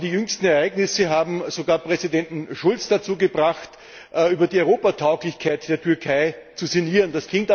Aber die jüngsten Ereignisse haben sogar Präsident Schulz dazu gebracht, über die Europatauglichkeit der Türkei zu sinnieren.